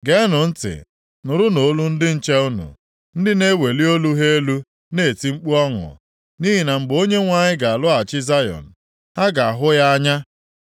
Geenụ ntị! Nụrụnụ olu ndị nche unu, ndị na-eweli olu ha elu na-eti mkpu ọṅụ. Nʼihi na mgbe Onyenwe anyị ga-alọghachi Zayọn, ha ga-ahụ ya anya.